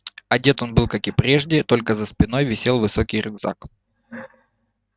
одет он был как и прежде только за спиной висел высокий рюкзак